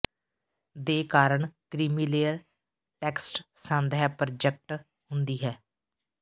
ਦੇ ਕਾਰਨ creamy layer text ਸੰਦ ਹੈ ਪ੍ਰੋਜਕਟ ਹੁੰਦੀ ਹੈ